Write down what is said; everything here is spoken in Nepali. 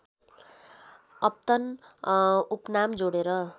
अपतन उपनाम जोडेर